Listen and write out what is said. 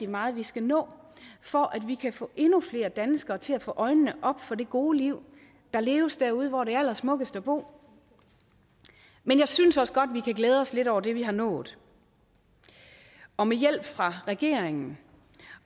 meget vi skal nå for at vi kan få endnu flere danskere til at få øjnene op for det gode liv der leves derude hvor der er allersmukkest at bo men jeg synes også godt vi kan glæde os lidt over det vi har nået og med hjælp fra regeringen